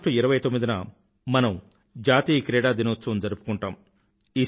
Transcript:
ఆగష్టు 29 న మనం జాతీయ క్రీడా దినోత్సవం జరుపుకుంటాము